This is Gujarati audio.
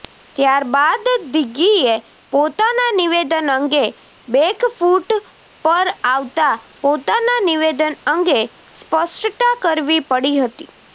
ત્યાર બાદ દિગ્ગીએ પોતાનાં નિવેદન અંગે બેકફુટ પર આવતા પોતાનાં નિવેદન અંગે સ્પષ્ટતાકરવી પડી હતી